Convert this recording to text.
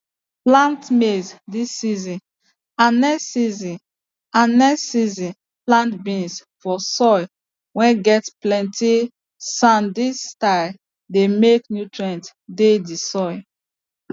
plant maize this season and next season and next season plant beans for soil whey get plenty sandthis style dey make nutrients dey the soil